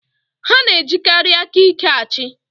Ha na-ejikarị aka ike achị.